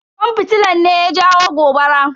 Kwan fitilan ne ya jawo gobara.